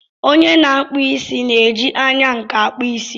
Onye na-akpụ isí na-eji anya nkà akpụ isí.